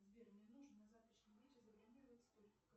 сбер мне нужно на завтрашний вечер забронировать столик